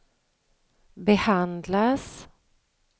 behandlas